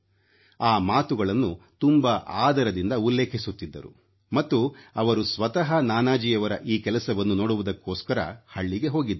ಆ ಮಾತುಗಳನ್ನು ತುಂಬಾ ಆದರದಿಂದ ಉಲ್ಲೇಖಿಸುತ್ತಿದ್ದರು ಮತ್ತು ಅವರು ಸ್ವತಃ ನಾನಾಜಿಯವರ ಈ ಕೆಲಸವನ್ನು ನೋಡುವುದಕ್ಕೋಸ್ಕರ ಹಳ್ಳಿಗೆ ಹೋಗಿದ್ದರು